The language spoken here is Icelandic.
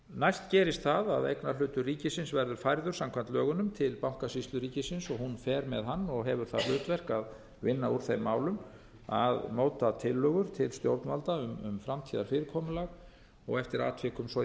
næst gerist það að eignarhlutur ríkisins verður færður samkvæmt lögunum til bankasýslu ríkisins og hún fer með hann og hefur það hlutverk að vinna úr þeim málum að móta tillögur til stjórnvalda um framtíðarfyrirkomulag og eftir atvikum á í